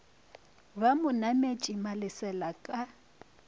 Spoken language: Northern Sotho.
ba mo nametše malesela ka